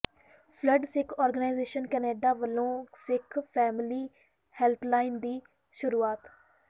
world Sikh organisation Canada ਵਲੋਂ Sikh family helpline ਦੀ ਸ਼ੁਰੂਆਤ